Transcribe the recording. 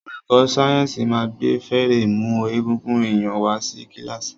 Olùkó sáyẹ́nsì ma gbé férémù egungun èyàn wá sí kílàsì.